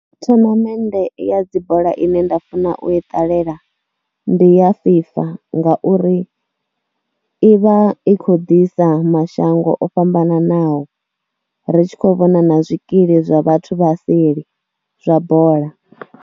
Thonomennde ya dzi bola ine nda funa u i ṱalela ndi ya FIFA ngauri i vha i khou ḓisa mashango o fhambananaho ri shi khou vhona na zwikili zwa vhathu vha seli, zwa bola.